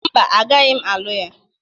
Mba, agaghị m alụ ya